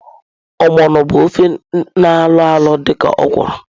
Ogbono bu ofe na alọalọ dị ka okwụrụ.